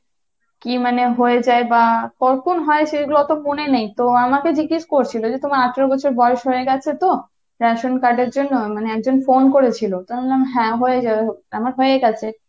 কী মানে হয়ে যায় বা কখন হয় সেগুলো তো মনে নেই তো আমাকে জিজ্ঞেস করেছিল যে তোমার আঠারো বছর বয়স হয়ে গেছে তো? ration card এর জন্য মানে একজন phone করেছিল , তো আমি বললাম হ্যাঁ আমার হয়ে গেছে।